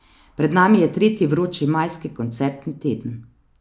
Pred nami je tretji vroči majski koncertni teden.